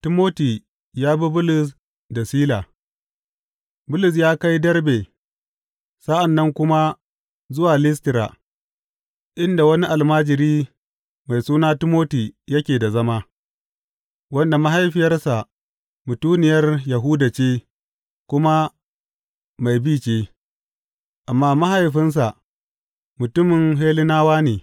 Timoti ya bi Bulus da Sila Bulus ya kai Derbe sa’an nan kuma zuwa Listira, inda wani almajiri mai suna Timoti yake da zama, wanda mahaifiyarsa mutuniyar Yahuda ce kuma mai bi ce, amma mahaifinsa mutumin Hellenawa ne.